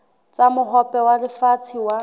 tsa mohope wa lefatshe wa